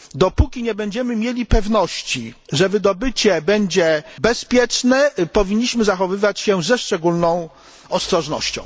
Dopóki nie będziemy mieli pewności, że wydobycie będzie bezpieczne, powinniśmy zachowywać się ze szczególną ostrożnością.